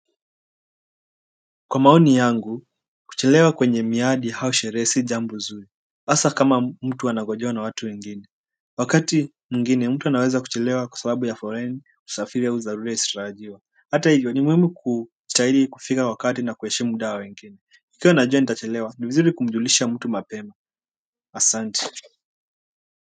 Kwa maoni yangu, kuchelewa kwenye miadi au sherehe si jambo zuri hasa kama mtu anangojewa na watu wengine wakati mwingine mtu anaweza kuchelewa kwa sababu ya foleni, usafiri au dharura isiyotarajiwa hata hivyo ni muhimu kustahili kufika kwa wakati na kuheshimu muda wa wengine. Ikiwa nitajua nitachelewa ni muhimu kujulisha mtu mapema asante.